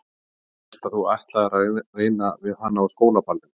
Ég hélt að þú ætlaðir að reyna við hana á skólaballinu